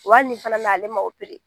Wa hali nin fana na ale ma